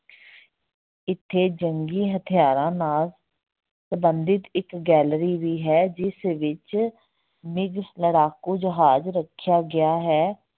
ਇੱਥੇ ਜੰਗੀ ਹਥਿਆਰਾਂ ਨਾਲ ਸੰਬੰਧਿਤ ਇੱਕ gallery ਵੀ ਹੈ, ਜਿਸ ਵਿੱਚ ਲੜਾਕੂ ਜਹਾਜ ਰੱਖਿਆ ਗਿਆ ਹੈ।